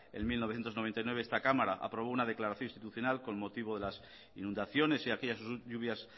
en mil novecientos noventa y nueve esta cámara aprobó una declaración institucional con motivo de las inundaciones y aquellas lluvias